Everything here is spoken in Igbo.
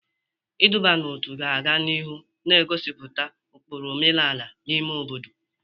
Iduba n'otu ga-aga n'ihu na-egosipụta ụkpụrụ omenala n'ime obodo.